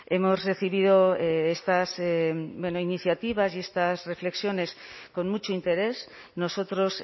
hemos recibido estas iniciativas y estas reflexiones con mucho interés nosotros